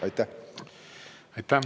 Aitäh!